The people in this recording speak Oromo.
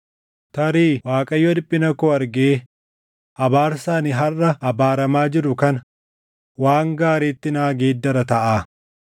Tarii Waaqayyo dhiphina koo argee abaarsa ani harʼa abaaramaa jiru kana waan gaariitti naa geeddara taʼaa.”